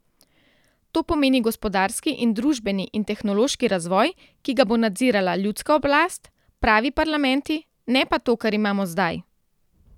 To pomeni gospodarski in družbeni in tehnološki razvoj, ki ga bo nadzirala ljudska oblast, pravi parlamenti, ne pa to, kar imamo zdaj.